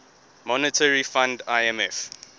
monetary fund imf